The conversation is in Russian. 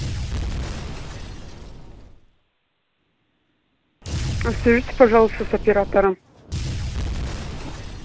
соедените пожалуйста с оператором